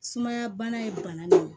Sumaya bana ye bana de ye